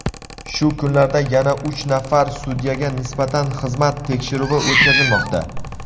Shu kunlarda yana uch nafar sudyaga nisbatan xizmat tekshiruvi o‘tkazilmoqda.